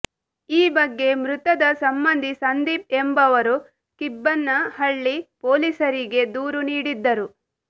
ಈ ಬಗ್ಗೆ ಮೃತದ ಸಂಬಂಧಿ ಸಂದೀಪ್ ಎಂಬವರು ಕಿಬ್ಬನಹಳ್ಳಿ ಪೊಲೀಸರಿಗೆ ದೂರು ನೀಡಿದ್ದರು